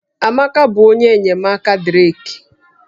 Amaka bụ onye enyemaka Drake